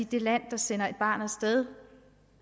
de lande der sender et barn af sted